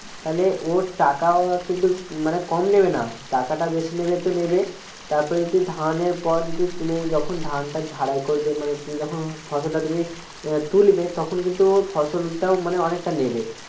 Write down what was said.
তাহলে ও টাকাও কিন্তু মানে কম নেবে না টাকাটা বেশি নেবে তো নেবে তারপর যদি ধানের পর যদি তুমি যখন ধানটা ঝাড়াই করবে তখন ফসল তুমি তুলবে তখন কিন্তু ও ফসল টাও মানে অনেকটা নেবে